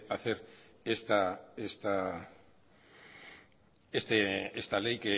esta ley